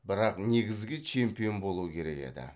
бірақ негізгі чемпион болу керек еді